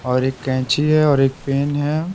और एक कैंची है और एक पेन है।